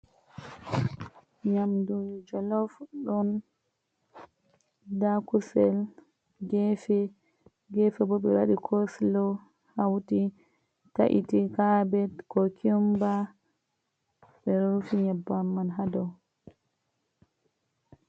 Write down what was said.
Nyamdu jolof ɗon, ndaa kusel geefe, geefe boo ɓe waɗi coosulo hawti tayti kaabet, kukumba. Ɓe rufi nyebbamm haa dow.